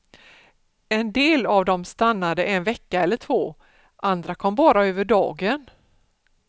En del av dem stannade en vecka eller två, andra kom bara över dagen.